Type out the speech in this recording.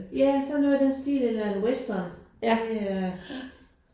Ja sådan noget i den stil eller en western det øh